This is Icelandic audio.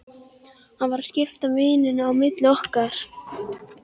Hann var að skipta víninu á milli okkar!